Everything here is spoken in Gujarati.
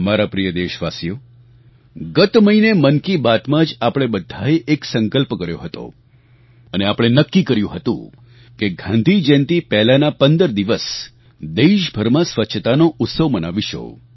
મારા પ્રિય દેશવાસીઓ ગત મહિને મન કી બાતમાં જ આપણે બધાએ એક સંકલ્પ કર્યો હતો અને આપણે નક્કી કર્યું હતું કે ગાંધીજયંતી પહેલાના ૧૫ દિવસ દેશભરમાં સ્વચ્છતાનો ઉત્સવ મનાવીશું